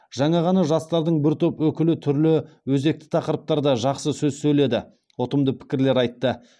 жаңа ғана жастардың бір топ өкілі түрлі өзекті тақырыптарда жақсы сөз сөйледі ұтымды пікірлер айтты